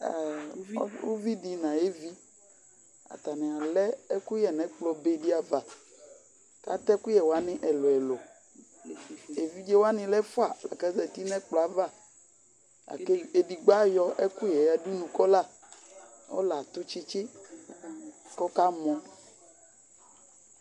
uvi di no ayo evi atani alɛ ɛkoyɛ no ekplɔ be di ava ko atɛ ɛkoyɛ wani ɛlo ɛlo evidze wani lɛ ɛfua la ko azati no ɛkplɔɛ ava la ko edigbo ayɔ ɛkoyɛ ya dunu ko ɔla ɔla ato tsitsi ko ɔka mɔ